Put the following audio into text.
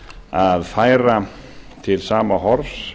að færa til sama horfs